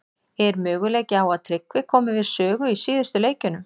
Er möguleiki á að Tryggvi komi við sögu í síðustu leikjunum?